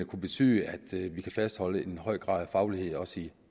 kunne betyde at vi kan fastholde en høj grad af faglighed også i